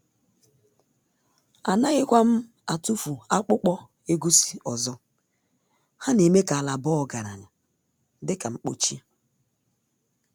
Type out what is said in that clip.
Anaghịkwa m atụfu akpụkpọ egusi ọzọ, ha n’eme ka ala baa ọgaranya dị ka mkpochi.